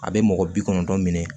A bɛ mɔgɔ bi kɔnɔntɔn minɛ